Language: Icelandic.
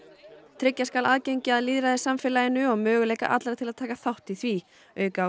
tryggja skal aðgengi að lýðræðissamfélaginu og möguleika allra til að taka þátt í því auka á